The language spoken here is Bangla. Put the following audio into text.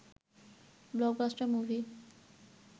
blockbuster movie